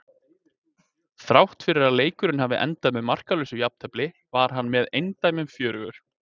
Þrátt fyrir að leikurinn hafi endað með markalausu jafntefli var hann með eindæmum fjörugur.